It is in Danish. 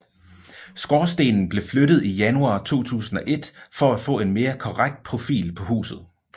Skorstenen blev flyttet i januar 2001 for at få en mere korrekt profil på huset